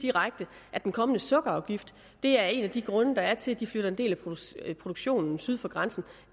direkte at den kommende sukkerafgift er en af de grunde der er til at de flytter en del af produktionen syd for grænsen